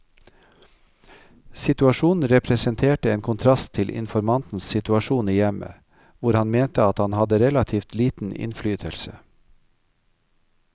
Situasjonen representerte en kontrast til informantens situasjon i hjemmet, hvor han mente at han hadde relativt liten innflytelse.